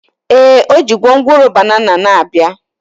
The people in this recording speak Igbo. Ee, o ji gwongworo banana na-abịa